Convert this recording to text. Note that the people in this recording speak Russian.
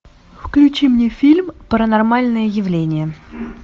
включи мне фильм паранормальное явление